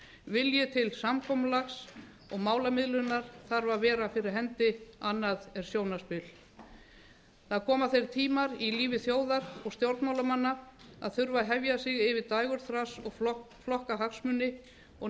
vilji til samkomulags og málamiðlunar þarf að vera fyrir hendi annað er sjónarspil það koma þeir tímar í lífi þjóðar og stjórnmálamanna að þurfa að hefja sig yfir dægurþras og flokkahagsmuni og